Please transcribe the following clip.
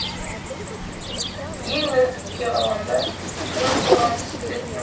ең нәзікке ғаламда ең қорғансыз тілектің